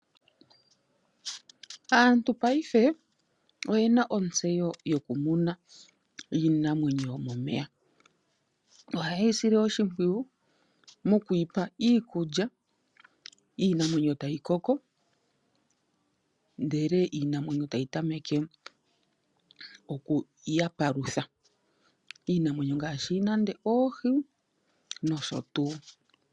Aantu ngaashingeyi oye na ontseyo yokumuna iinamwenyo yomomeya. Ohayeyi sile oshimpwiyu , mokuyi pa iikulya, iinamwenyo etayi koko . Iinamwenyo ohayi ya tameke okupalutha, iinamwenyo ngaashi oohi.